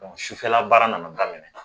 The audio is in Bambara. Sufɛla baara nana daminɛ